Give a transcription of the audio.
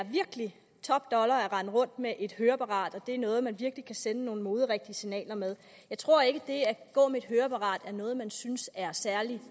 top dollar at rende rundt med et høreapparat og det er noget man virkelig kan sende nogle moderigtige signaler med jeg tror ikke at det at gå med et høreapparat er noget man synes er særlig